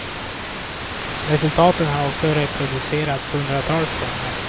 Resultaten har också reproducerats hundratals gånger.